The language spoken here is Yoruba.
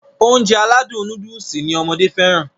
Ounjẹ aládùn nóódùsì lọmọdé fẹ́ràn